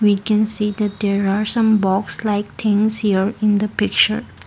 we can see that there are some box like things here in the picture.